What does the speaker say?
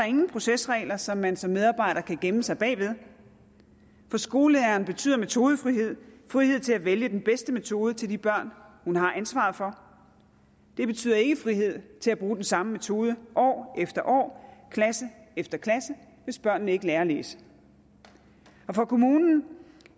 ingen procesregler som man som medarbejder kan gemme sig bag for skolelæreren betyder metodefrihed frihed til at vælge den bedste metode til de børn hun har ansvaret for det betyder ikke frihed til at bruge den samme metode år efter år klasse efter klasse hvis børnene ikke lærer at læse for kommunen